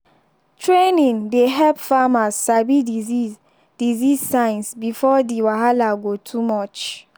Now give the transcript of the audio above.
training dey help farmers sabi disease disease signs before the wahala go too much.